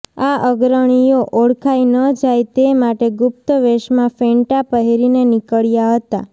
આ અગ્રણીઓ ઓળખાય ન જાય તે માટે ગુપ્ત વેશમાં ફેંટા પહેરીને નિકળ્યા હતા